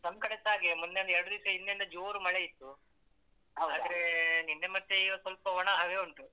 ನಮ್ಕಡೆಸ ಹಾಗೆ ಮೊನ್ನೆಯೊಂದು ಎರಡು ದಿವ್ಸ ಹಿಂದೆಂದ ಜೋರು ಮಳೆ ಇತ್ತು. ಆದ್ರೆ ನಿನ್ನೆ ಮತ್ತೆ ಈಗ ಸ್ವಲ್ಪ ಒಣ ಹಾಗೆ ಉಂಟು.